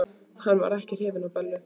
Hann var ekki hrifinn af Bellu.